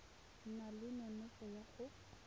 na le nonofo ya go